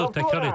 Təkrar edin.